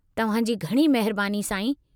तव्हां जी घणी महिरबानी, साईं।